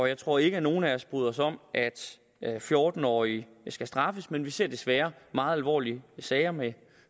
jeg tror ikke at nogen af os bryder os om at fjorten årige skal straffes men vi ser desværre meget alvorlige sager med